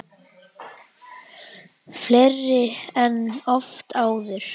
Fleiri en oft áður.